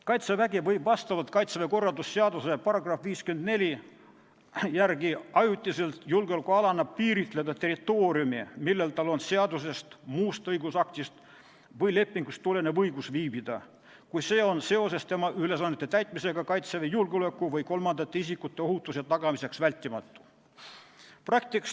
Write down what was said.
Kaitsevägi võib Kaitseväe korralduse seaduse § 54 järgi ajutiselt julgeolekualana piiritleda territooriumi, millel tal on seadusest, muust õigusaktist või lepingust tulenev õigus viibida, kui see on seoses tema ülesannete täitmisega Kaitseväe julgeoleku või kolmandate isikute ohutuse tagamiseks vältimatu.